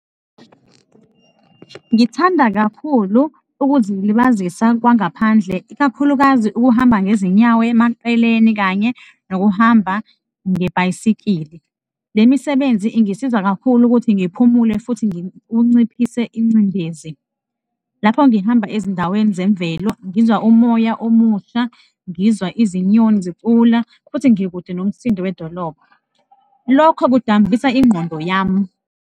Ngithanda kakhulu ukuzilibazisa kwangaphandle, ikakhulukazi ukuhamba ngezinyawo emaceleni kanye nokuhamba ngebhayisikili. Le misebenzi ingisiza kakhulu ukuthi ngiphumule futhi kunciphise ingcindezi. Lapho ngihamba ezindaweni zemvelo, ngizwa umoya omusha, ngizwa izinyoni zicula futhi ngikude nomsindo wedolobha, lokho kudambisa ingqondo yami.